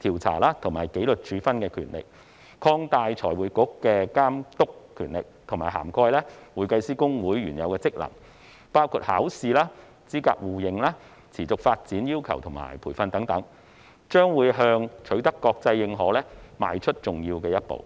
調查和紀律處分的權力；以及擴大財匯局的監督權力，以涵蓋會計師公會原有的職能，包括考試、資格互認、持續發展要求和培訓等，將向取得國際認可邁出重要一步。